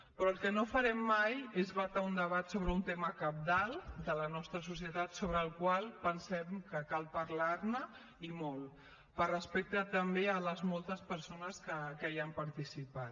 però el que no farem mai és vetar un debat sobre un tema cabdal de la nostra societat sobre el qual pensem que cal parlar ne i molt per respecte també a les moltes persones que hi han participat